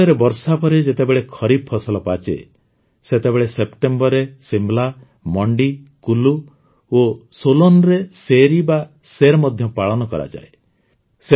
ହିମାଚଳରେ ବର୍ଷା ପରେ ଯେତେବେଳେ ଖରିଫ ଫସଲ ପାଚେ ସେତେବେଳେ ସେପ୍ଟେମ୍ବରରେ ଶିମଳା ମଣ୍ଡି କୁଲ୍ଲୁ ଓ ସୋଲନରେ ସୈରି ବା ସୈର ମଧ୍ୟ ପାଳନ କରାଯାଏ